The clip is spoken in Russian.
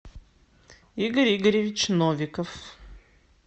игорь игоревич новиков